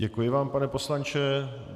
Děkuji vám, pane poslanče.